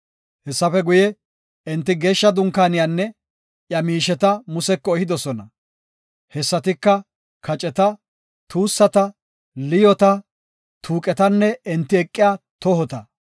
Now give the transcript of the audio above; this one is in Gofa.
Hessafe guye, enti Geeshsha Dunkaaniyanne iya miisheta Museko ehidosona. Hessatika, kaceta, tuussata, liyoota, tuuqetanne enti eqiya tohota.